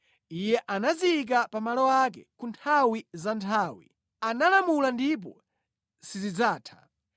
Iye anaziyika pa malo ake ku nthawi za nthawi; analamula ndipo sizidzatha.